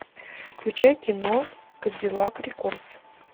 включай кино кадиллак рекордс